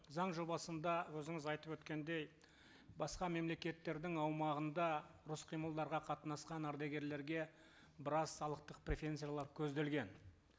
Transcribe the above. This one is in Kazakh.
заң жобасында өзіңіз айтып өткендей басқа мемлекеттердің аумағында ұрыс қимылдарға қатынасқан ардагерлерге біраз салықтық преференциялар көзделген